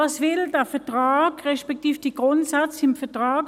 Was will der Vertrag, respektive was wollen die Grundsätze im Vertrag?